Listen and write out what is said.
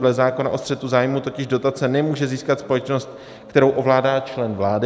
Dle zákona o střetu zájmů totiž dotace nemůže získat společnost, kterou ovládá člen vlády.